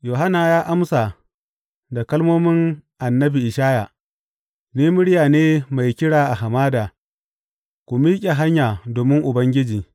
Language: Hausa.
Yohanna ya amsa da kalmomin annabi Ishaya, Ni murya ne mai kira a hamada, Ku miƙe hanya domin Ubangiji.’